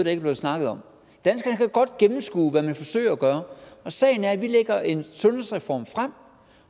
er blevet snakket om danskerne kan godt gennemskue hvad man forsøger at gøre og sagen er at vi lægger en sundhedsreform frem